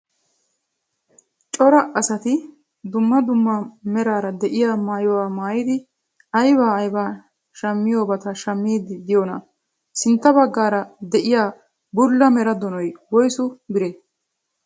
Cora asati dumma dumma meraara de'iyaa maayuwaa maayidi ayba ayba shammiyoobata shammiidi diyoonaa? sintta baggaara de'iyaa bulla mera doonoy woyssu biree?